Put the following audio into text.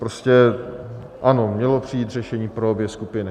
Prostě ano, mělo přijít řešení pro obě skupiny.